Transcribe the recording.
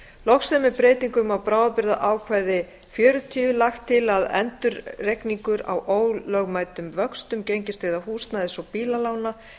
loks er með breytingum á bráðabirgðaákvæði xl lagt til að endurreikningur á ólögmætum vöxtum gengistryggðra húsnæðis og bílalána